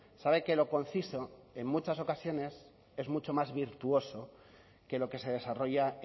sabe que lo conciso en muchas ocasiones es mucho más virtuoso que lo que se desarrolla